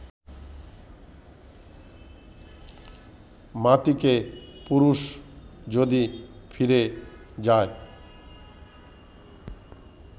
মাতিকে পুরুষ যদি ফিরে যায়